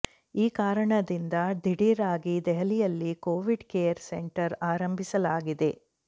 ಈ ಕಾರಣದಿಂದ ದಿಢೀರ್ ಆಗಿ ದೆಹಲಿಯಲ್ಲಿ ಕೋವಿಡ್ ಕೇರ್ ಸೆಂಟರ್ ಆರಂಭಿಸಲಾಗಿದೆ